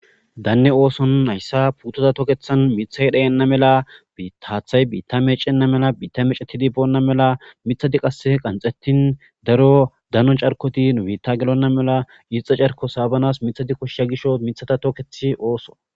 danne ooson nayssa putoza tokethan mithay dheyenna mela haathay biitta meecenna mela biitta mecetidi boonna mela mithadi qase qanxettin daro dano carkoti biitta gelonna mela iixe carko saabanas mithadi koshya gisho mithata tookethi ooso